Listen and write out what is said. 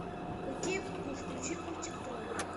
окей гугл включи мультик тролли